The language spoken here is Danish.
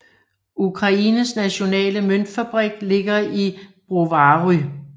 Ukraines nationale møntfabrik ligger i Brovary